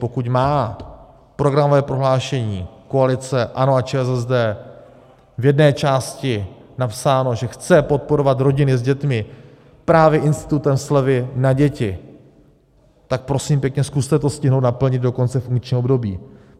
Pokud má programové prohlášení koalice ANO a ČSSD v jedné části napsáno, že chce podporovat rodiny s dětmi právě institutem slevy na děti, tak prosím pěkně zkuste to stihnout naplnit do konce funkčního období.